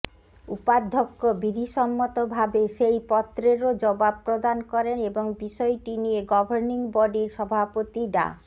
উপাধ্যক্ষ বিধিসম্মতভাবে সেই পত্রেরও জবাব প্রদান করেন এবং বিষয়টি নিয়ে গভর্নিং বডির সভাপতি ডা